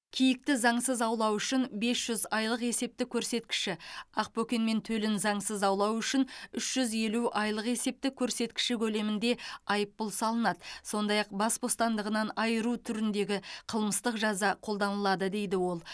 киікті заңсыз аулау үшін бес жүз айлық есептік көрсеткіші ақбөкен мен төлін заңсыз аулау үшін үш жүз елу айлық есептік көрсеткіші көлемінде айыппұл салынады сондай ақ бас бостандығынан айыру түріндегі қылмыстық жаза қолданылады дейді ол